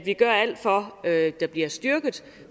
gøre alt for at den bliver styrket